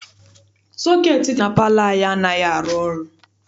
Sọketi dị na palọ anyị anaghị arụ ọrụ.